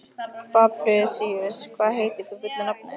Fabrisíus, hvað heitir þú fullu nafni?